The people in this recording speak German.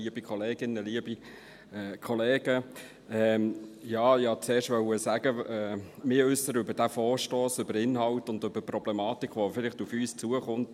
Ich wollte mich zuerst zu diesem Vorstoss äussern, zum Inhalt und zur Problematik, die vielleicht auf uns zukommt.